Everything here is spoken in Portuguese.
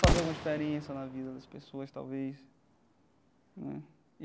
Fazer alguma diferença na vida das pessoas, talvez né e.